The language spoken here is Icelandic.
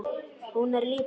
Hún er lítil.